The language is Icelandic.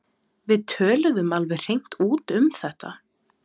Við töluðum alveg hreint út um þetta.